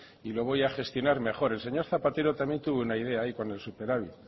y lo voy a gestionar mejor el señor zapatero también tuvo una idea ahí con el superávit